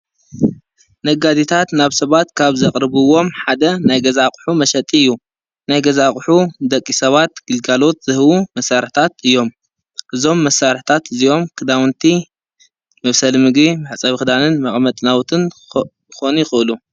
ነጋዴታት ናብ ሰባት ካብ ዘቕርብዎም ሓደ ናይ ገዛቕሑ መሸጢ እዩ፡፡ ናይ ገዛ ኣቕሑ ደቂ ሰባት ግልጋሎት ዝህቡ መሳርሕታት እዮም፡፡ እዞም መሳርሕታት እዚኦም ክዳውንቲ መብሰሊ ምግቢ መሕፀቢ ኽዳንን መቕመጢ ናዉትን ክኾኑ ይኽእሉ፡፡